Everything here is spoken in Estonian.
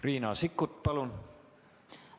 Riina Sikkut, palun!